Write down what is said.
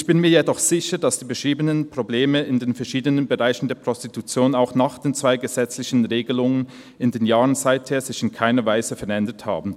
Ich bin mir jedoch sicher, dass die beschriebenen Probleme in den verschiedenen Bereichen der Prostitution auch nach den zwei gesetzlichen Regelungen in den Jahren seither sich in keiner Weise verändert haben.